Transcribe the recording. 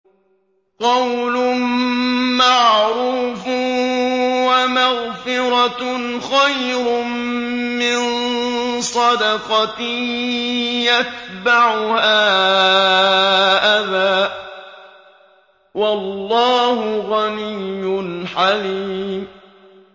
۞ قَوْلٌ مَّعْرُوفٌ وَمَغْفِرَةٌ خَيْرٌ مِّن صَدَقَةٍ يَتْبَعُهَا أَذًى ۗ وَاللَّهُ غَنِيٌّ حَلِيمٌ